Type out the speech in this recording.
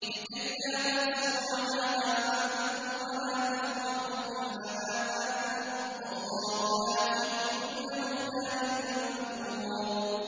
لِّكَيْلَا تَأْسَوْا عَلَىٰ مَا فَاتَكُمْ وَلَا تَفْرَحُوا بِمَا آتَاكُمْ ۗ وَاللَّهُ لَا يُحِبُّ كُلَّ مُخْتَالٍ فَخُورٍ